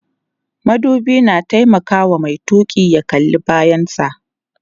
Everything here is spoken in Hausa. madubi na taimakawa Mai tuki ya kalla bayan sa